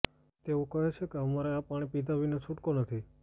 તેઓ કહે છે કે અમારે આ પાણી પિધા વિના છુટકો નથી